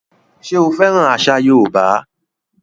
Ṣé o fẹ́ràn àṣà yóòbá?